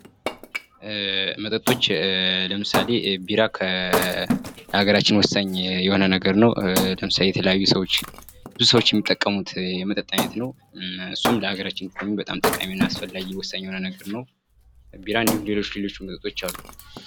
መጠጦች ውስጥ መካከል ለምሳሌ ቢራ ለሀገራችን ወሳኝ የሆነ ነገር ነው ለምሳሌ የተለያዩ ሰዎች ብዙ ሰዎች የሚጠቀሙት የመጠጥ አይነት ነው እሱም ለአገራችን ጠቃሚና አስፈላጊ የሆነ ነገር ነው ቢራ እንዲሁም ሌሎች መጠጦች አሉ።